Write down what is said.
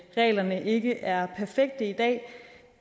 reglerne ikke er perfekte i dag